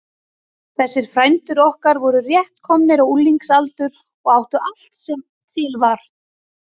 Þessir frændur okkar voru rétt komnir á unglingsaldur og áttu allt sem til var.